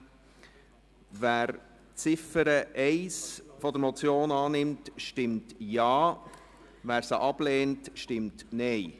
Wer die Ziffer 1 der Motion annimmt, stimmt Ja, wer diese ablehnt, stimmt Nein.